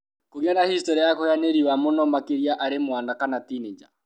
Kũgĩa na hĩstorĩ ya kũhĩa nĩ riũwa mũno, makĩria arĩ mwana kana tinĩnja.